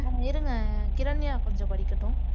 இருங்க கிரண்யா கொஞ்சம் படிக்கட்டும்